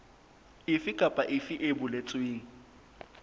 efe kapa efe e boletsweng